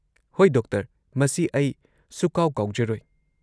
ꯍꯣꯏ, ꯗꯣꯛꯇꯔ! ꯃꯁꯤ ꯑꯩ ꯁꯨꯛꯀꯥꯎ-ꯀꯥꯎꯖꯔꯣꯏ꯫